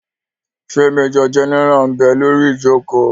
Ṣé majọ gẹ́nẹ́rà ḿ bẹ lórí ìjòkó?